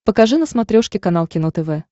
покажи на смотрешке канал кино тв